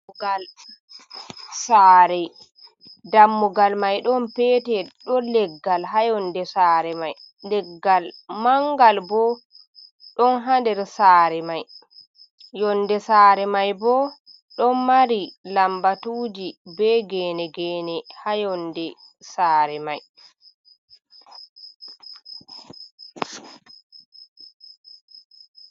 Dammugal sare dammugal mai ɗon pete ɗon leggal ha yonde sare mai, leggal mangal bo ɗon ha nder sare mai, yonde sare mai bo ɗon mari lambatuji be gene gene ha yonde sare mai.